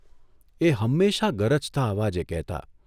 એ હંમેશા ગરજતા અવાજે કહેતા.